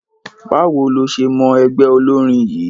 Báwo ló ṣe mọ ẹgbẹ́ olórin yìí?